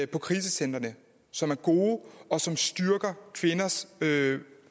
på krisecentrene som er gode og som styrker kvinders det